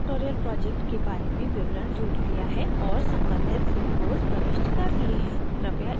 मैंने spoken tutorial project के बारे में विवरण जोड़ लिया है और सम्बंधित logos प्रविष्ट कर लिए हैं